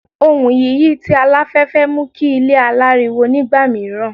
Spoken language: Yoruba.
Ohùn yiyi ti alafẹfẹ mu ki ile alariwo nigba miiran